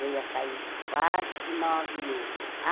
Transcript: Eu ia sair quase nove e meia. Ah